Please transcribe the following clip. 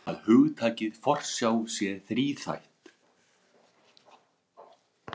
Segja má að hugtakið forsjá sé þríþætt.